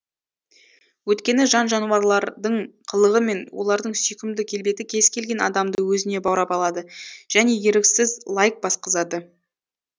өйткені жан жануарлардың қылығы мен олардың сүйкімді келбеті кез келген адамды өзіне баурап алады және еріксіз лайк басқызады